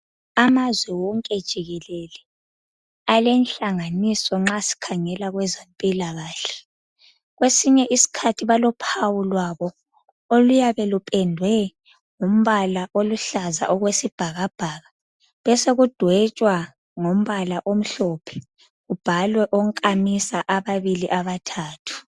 Amazwe wonke jikelele alenhlanganiso nxa sikhangela kwezempilakahle kwesinye isikhathi balophawu lwabo, oluyabe lupendwe ngombala oluhlaza okwesibhakabhaka besekudwetshwa ngombala omhlophe kubhalwa onkamisa ababili abathathu.